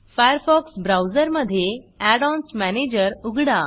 Firefox ब्राऊजरमधे add ons manager उघडा